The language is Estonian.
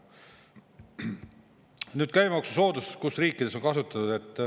Nüüd, käibemaksusoodustused, kus riikides on kasutatud.